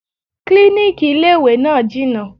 Klíníkì ilé ìwé náà jìnà.